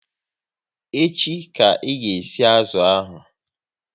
Echi ka ị ga e si azụ ahụ!